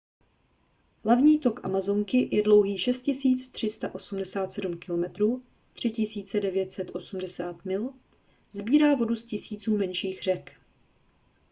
hlavní tok amazonky je dlouhý 6 387 km 3 980 mil. sbírá vodu z tisíců menších řek